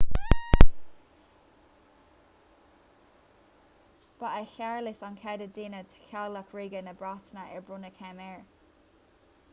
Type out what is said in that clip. ba é séarlas an chéad duine de theaghlach ríoga na breataine ar bronnadh céim air